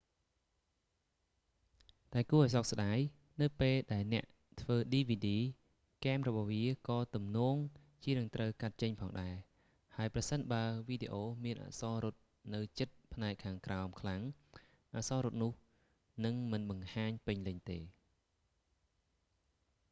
តែគួរឱ្យសោកស្ដាយ នៅពេលដែលអ្នកធ្វើឌីវីឌី គែមរបស់វាក៏ទំនងជានឹងត្រូវកាត់ចេញផងដែរ ហើយប្រសិនបើវីដេអូមានអក្សររត់នៅជិតផ្នែកខាងក្រោមខ្លាំង អក្សររត់នោះនឹងមិនបង្ហាញពេញលេញទេ